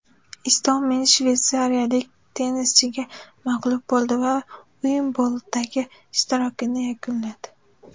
Istomin shveysariyalik tennischiga mag‘lub bo‘ldi va Uimbldondagi ishtirokini yakunladi.